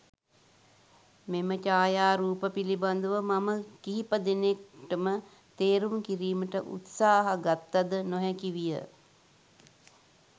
මෙම ඡායාරූප පිළිබදව මම කිහිප දෙනෙක්ටම තේරුම් කිරීමට උත්සාහ ගත්තද නොහැකි විය.